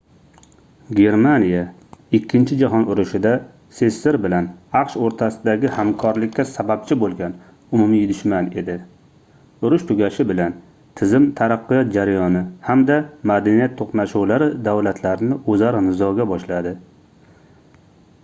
germaniya ikkinchi jahon urushida sssr bilan aqsh oʻrtasidagi hamkorlikka sababchi boʻlgan umumiy dushman edi urush tugashi bilan tizim taraqqiyot jarayoni hamda madaniyat toʻqnashuvlari davlatlarni oʻzaro nizoga boshladi